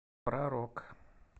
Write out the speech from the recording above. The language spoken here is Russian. про рок